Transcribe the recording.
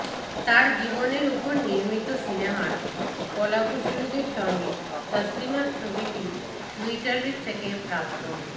তাঁর জীবনের উপর নির্মিত সিনেমার কলাকুশলীদের সঙ্গে তসলিমার ছবিটি ট্যুইটার থেকে প্রাপ্ত